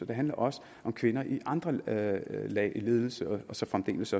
det handler også om kvinder i andre lag i ledelse og så fremdeles